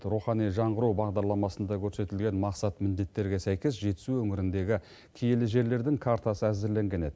рухани жаңғыру бағдарламасында көрсетілген мақсат міндеттерге сәйкес жетісу өңіріндегі киелі жерлердің картасы әзірленген еді